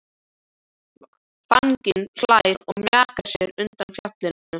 Fanginn hlær og mjakar sér undan fjallinu.